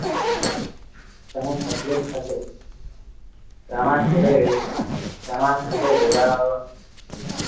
તમને તકલીફ થશે સામા છેડે સામા છેડે વેરાવ